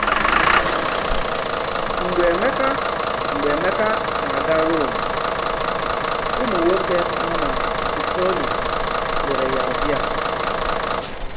Mgbe Emeka Mgbe Emeka na-aga Rome, ụmụ̀nwòké nọ na Puteoli lèrè ya ọbìà.